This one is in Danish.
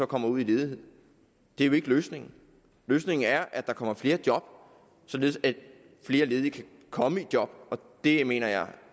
kommer ud i ledighed det er jo ikke løsningen løsningen er at der kommer flere job således at flere ledige kan komme i job og det mener jeg